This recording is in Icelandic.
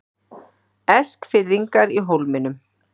Eskfirðingar í Hólminum